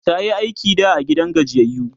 tayi aiki da a gidan gajiyayyu